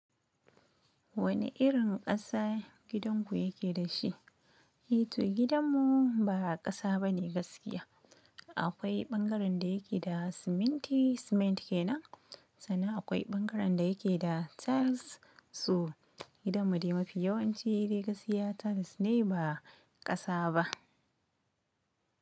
Wani irin ƙasa gidanku yake da shi? Eh to gidanmu ba ƙasa bane gaskiya. Akwai bangaren da yake da ciminti cement kenan, san nan akwai bangaren dayake tiles. Gidan mu dai mafi yawanci dai gaskiya tiles ne ba ƙasa ba.